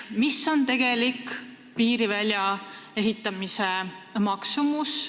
Mis on tegelik piiri väljaehitamise maksumus?